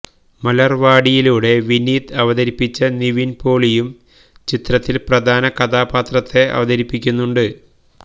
മലര്വാടിയിലൂടെ വിനീത് അവതരിപ്പിച്ച നിവിന് പോളിയും ചിത്രത്തില് പ്രധാനകഥാപാത്രത്തെ അവതരിപ്പിയ്ക്കുന്നുണ്ട്